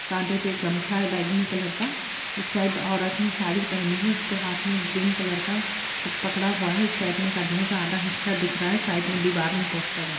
कांधे पर गमछा है बैगनी कलर का इस साइड औरत ने साड़ी पहनी है उसके हाथ में ग्रीन कलर का कुछ पकड़ा हुआ है एक साइड में आदमी का आधा हिस्सा दिख रहा है साइड में दीवार में पोस्टर है।